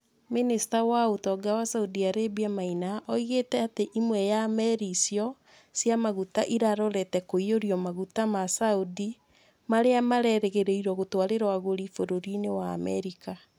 Mĩnĩsta wa ũtonga wa saudi Arabia Maina oigĩte atĩ ĩmwe ya meri icio cia maguta ĩrarorete kũiyũrio maguta ma Saudi marĩa mererĩgĩrĩirwo gũtwarĩrwo agũri bũrũri-inĩ wa Amerika.